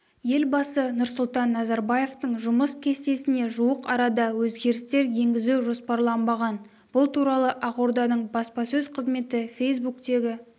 елбасы нұрсұлтан назарбаевтың жұмыс кестесіне жуық арада өзгерістер енгізу жоспарланбаған бұл туралы ақорданың баспасөз қызметі фейсбуктегі